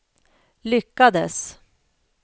lyckades